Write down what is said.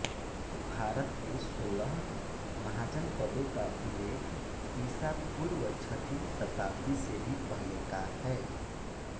भारत के सोलह महाजनपदों का उल्लेख ईसा पूर्व छठी शताब्दी से भी पहले का है